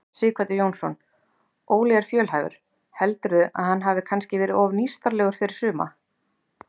Sighvatur Jónsson: Óli er fjölhæfur, heldurðu að hann hafi kannski verið of nýstárlegur fyrir suma?